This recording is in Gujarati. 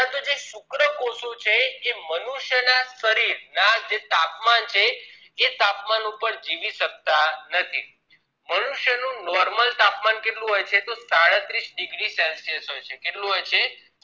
જે શુક્રકોષો છે એ મનુષ્ય ના શરીર નું જે તાપમાન છે એ તાપમાન ઉપર જીવી શક્તા નથી મનુષ્ય નું normal તાપમાન કેટલું હોય છે તો સાડત્રીશ degree celsius હોય છે કેઅટલું હોય છે